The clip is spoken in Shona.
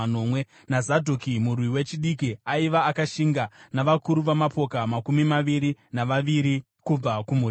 naZadhoki, murwi wechidiki aiva akashinga, navakuru vamapoka makumi maviri navaviri kubva kumhuri yake;